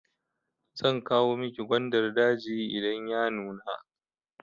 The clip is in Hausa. Zan kawo miki gwandar daji idan ya nuna.